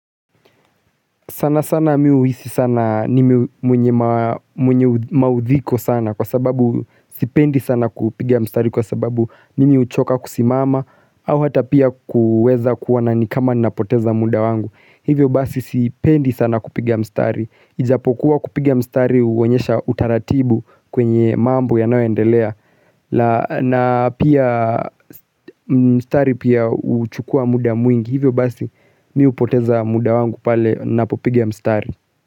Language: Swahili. Sana sana mi huhisi sana nime mwenye maudhiko sana kwa sababu sipendi sana kupiga mstari kwa sababu mimi uchoka kusimama au hata pia kuweza kuona ni kama napoteza muda wangu Hivyo basi sipendi sana kupiga mstari Ijapokuwa kupiga mstari uonyesha utaratibu kwenye mambo yanayoendelea na pia mstari pia uchukua muda mwingi Hivyo basi mi hupoteza muda wangu pale napopiga mstari.